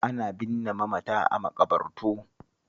Ana binne mamata a maƙabartu